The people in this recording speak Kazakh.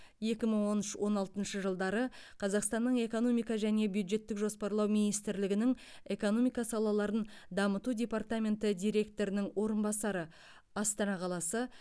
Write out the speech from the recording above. екі мың он үш он алтыншы жылдары қазақстанның экономика және бюджеттік жоспарлау министрлігінің экономика салаларын дамыту департаменті директорының орынбасары астана қаласы